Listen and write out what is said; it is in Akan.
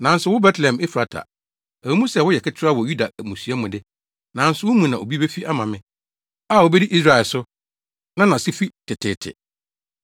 “Nanso wo, Betlehem Efrata, ɛwɔ mu sɛ woyɛ ketewa wɔ Yuda mmusua mu de, nanso wo mu na obi befi ama me a obedi Israel so, na nʼase fi teteete.”